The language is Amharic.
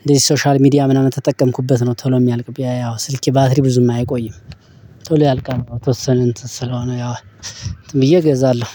እንደዚህ ሶሻል ሚዲያ ምናምን ተጠቀምኩበት ነው። ቶሎ የሚያልቅ ያው ስልኬ ባትሪ ብዙም አይቆይም። ቶሎ ያልቃል የተወሰን እንትን ስለሆነ ያው እንትን ብዬ እገዛለሁ።